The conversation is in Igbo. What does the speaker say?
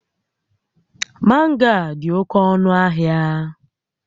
Mango a dị oke ọnụ ahịa